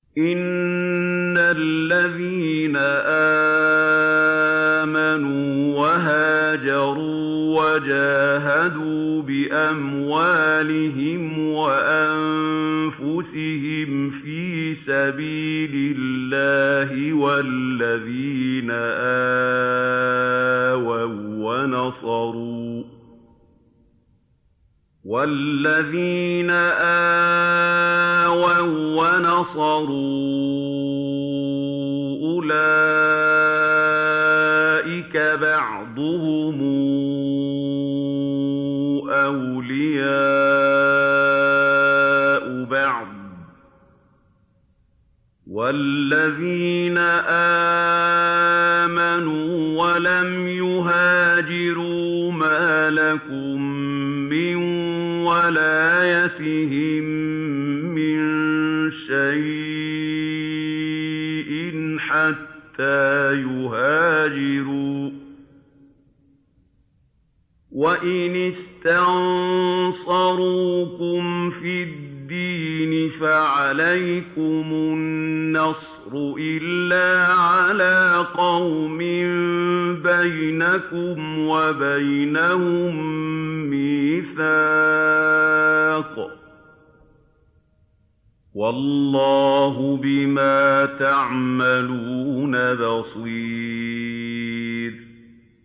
إِنَّ الَّذِينَ آمَنُوا وَهَاجَرُوا وَجَاهَدُوا بِأَمْوَالِهِمْ وَأَنفُسِهِمْ فِي سَبِيلِ اللَّهِ وَالَّذِينَ آوَوا وَّنَصَرُوا أُولَٰئِكَ بَعْضُهُمْ أَوْلِيَاءُ بَعْضٍ ۚ وَالَّذِينَ آمَنُوا وَلَمْ يُهَاجِرُوا مَا لَكُم مِّن وَلَايَتِهِم مِّن شَيْءٍ حَتَّىٰ يُهَاجِرُوا ۚ وَإِنِ اسْتَنصَرُوكُمْ فِي الدِّينِ فَعَلَيْكُمُ النَّصْرُ إِلَّا عَلَىٰ قَوْمٍ بَيْنَكُمْ وَبَيْنَهُم مِّيثَاقٌ ۗ وَاللَّهُ بِمَا تَعْمَلُونَ بَصِيرٌ